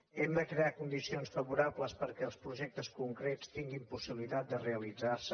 hem de crear condicions favorables perquè els projectes concrets tinguin possibilitat de realitzar se